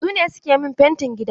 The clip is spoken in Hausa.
Su ne suke min fentin gidana.